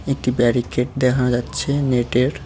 একটি ব্যারিকেড দেখানো যাচ্ছে নেটের।